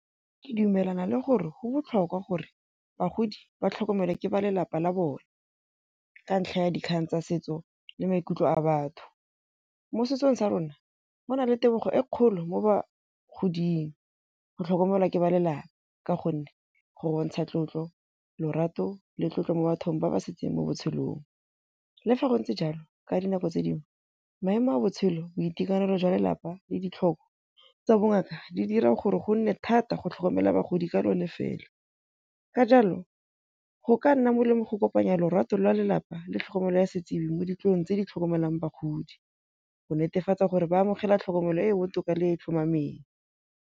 Ke dumelana le gore go botlhokwa gore bagodi ba tlhokomelwe ke ba lelapa la bone. Ka ntlha ya dikgang tsa setso le maikutlo a batho. Mo setsong sa rona go na le tebogo e kgolo mo ba godimo go tlhokomelwa ke ba lelapa. Ka gonne go bontsha tlotlo, lorato le tlotlo mo bathong ba ba setseng mo botshelong. Le fa go ntse jalo ka dinako tse dingwe maemo a botshelo, boitekanelo jwa lelapa le ditlhoko tsa bongaka di dira gore go nne thata go tlhokomela bagodi ka lone fela. Ka jalo go ka nna molemo go kopanya lorato lwa lelapa le tlhokomelo ya setsibi mo tse di tlhokomelang bagodi, go netefatsa gore ba amogela tlhokomelo e e botoka le tlhomameng.